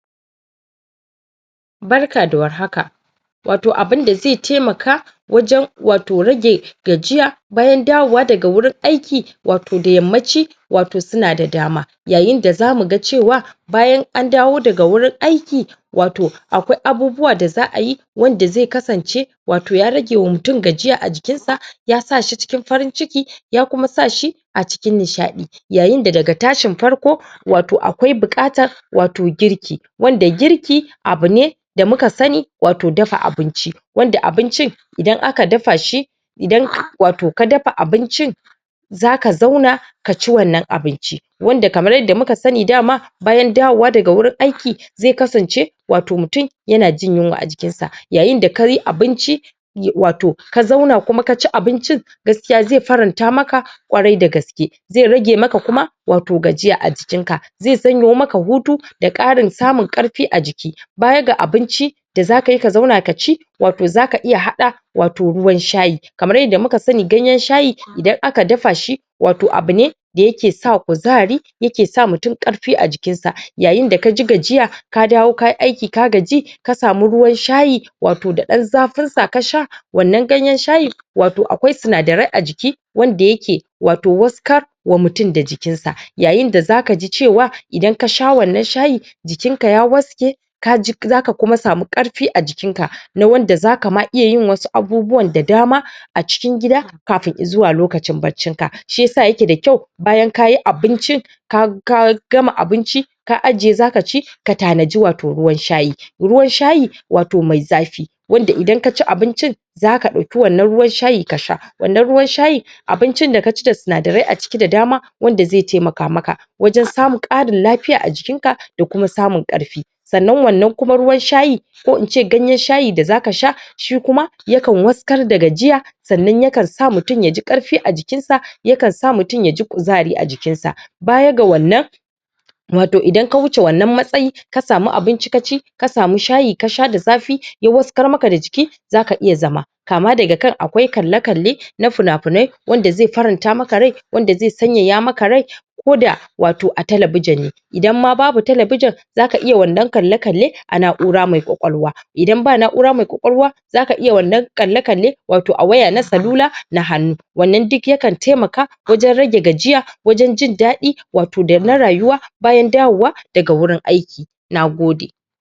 Barka da war haka. Wato abinda ze taimaka wajen wato rage gajiya bayan dawowa daga wurin aiki wato da yammaci wato suna da dama, yaayinda zamuga cewa bayan an dawo daga wurin aiki wato akwai abubuwa da za'ayi wanda ze kasance wato yaa ragewa mutum gajiya a jikinsa ya sashi cikin farin-ciki ya kuma sashi a cikin nishadi yaayinda daga tashin farko wato awkai buƙatan wato girki wanda girki abune da muka sani wato dafa abinci wanda abincin idan aka dafashi idan wato ka dafa abincin zaka zauna kaci wannan abinci, wanda kamar yadda muka sani dama bayan dawowa daga wurin aiki ze kasance wato mutum yana jin yunwa a jikinsa yaayinda kayi abinci wato ka zauna kuma kaci abincin gaskiya ze faranta maka kwarai da gaske ze rage maka kuma wato gajiya ajikinka, ze sanyo maka hutu da ƙarin samun karfi a jiki. Baya ga abinci da zakayi ka zauna kaci, wato zaka iya hada wato ruwan shayi kamar yanda muka sani ganyan shayi idan aka dafashi wato abune da yake sa kuzari yake sawa mutum karfi a jikinsa yayinda kaji gajiya, ka dawo kayi aiki ka gaji ka samu ruwan shayi wato da ɗan zafinsa kasha wannan ganyan shayi wato akwai sinadarai a jiki wanda yake wato waskar wa mutum da jikin sa yaayinda zakaji cewa idan kasha wannan shayi jikin ka ya waske kaji zaka kuma samu karfi a jikin ka na wanda zaka ma iya yin wasu abubuwan da dama a cikin gida kafin izuwa lokaci barcin ka, shi yasa yake da kyau bayan kayi abincin ka ka gama abinci ka ajiye zaa kaci ka taa nadi wato ruwan shayi, ruwan shayi wato mai zafi, wanda idan kaci abincin zaka dauƙi wannan ruwan shayi kasha, wannan ruwan shayin abincin da kaci da sinada rai a ciki da dama wanda zai taimaka maka wajan samun ƙarin lafiya a jikinka da kuma samun ƙarfi sa'annan wannan kuma ruwan shayi ko ince ganyan shayi da zaa kasha shi kuma yakan waskar da gajiya sa'annan yakan sa mutum yaji ƙarfi a jikinsa, yakan sa mutum yaji kuzari a jikinsa. Baya ga wannan wato idan ka wuce wannan matsayi ka samu abinci kaci ka samu shayi kasha da zafi ya waskar maka da jiki zaka iya zama kaama daga kan akwai kalle-kallena fina-finai wanda zai faranta maka rai, wanda zai sanyaya maka rai koda wato a talabijin ne idan ma babu talabijin zaka iya wannan kalle-kallen a na'ura mai ƙwaƙwalwa idan ba na'ura mai ƙwaƙwalwa zaka iya wannan kalle-kalle wato a waya na salula na hannu wannan duk yakan taimaka wajan rage gajiya wajan jindaɗi wato na rayuwa bayan dawo wa daga wurin aiki, nagode.